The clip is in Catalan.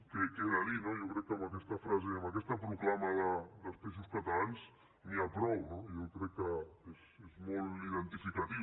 què he de dir no jo crec que amb aquesta frase i amb aquesta proclama dels peixos catalans catalans n’hi ha prou no jo crec que és molt identificatiu